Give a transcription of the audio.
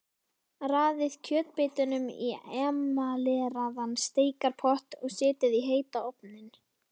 Raðið kjötbitunum í emaleraðan steikarpott og setjið í heitan ofninn.